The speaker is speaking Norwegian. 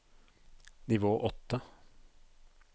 nivå åtte